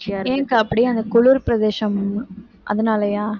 ஏன் அக்கா அப்படி அந்த குளிர் பிரதேசம் அதனாலயா